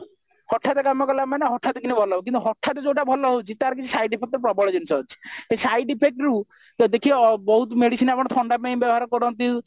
ହଠାତ କାମ କଲା ମାନେ ହଠାତ କିରି ଭଲ ହେବ କିନ୍ତୁ ହଠାତ ଯଉଟା ଭଲ ହଉଛି ତାର side effect ଟା ପ୍ରବଳ ଜିନିଷ ଅଛି ସେ side effectରୁ ତ ଦେଖିବ ବହୁତ ମେଡିସିନ ଆମର ଥଣ୍ଡା ପାଇଁ ବ୍ୟବହାର କରନ୍ତି